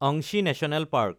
অংশী national park